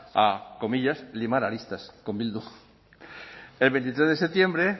a comillas limar aristas con bildu el veintitrés de septiembre